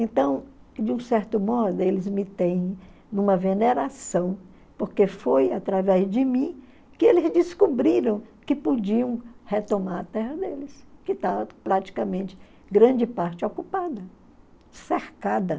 Então, de um certo modo, eles me têm numa veneração, porque foi através de mim que eles descobriram que podiam retomar a terra deles, que estava praticamente grande parte ocupada, cercada.